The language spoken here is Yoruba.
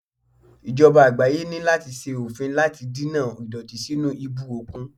Ìjọba àgbáyé ní láti ṣe òfin láti dènà ìdọ̀tí sínú ibú òkun.